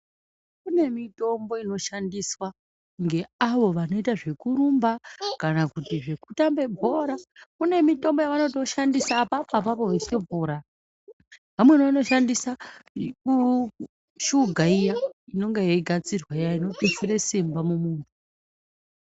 Kune mitombo inoshandiswa ngeavo vanoita zvekurumba kana kuti zvekutamba bhora kune mitombo yavanoshandisa apapo apapo vachitopora .Vamweni vanoshandisa shuga iya inonga ichigadzirwa iya inonga ichitutsira simba mumuntu .